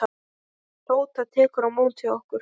Tóta tekur á móti okkur.